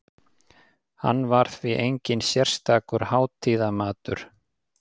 Hann var því enginn sérstakur hátíðamatur.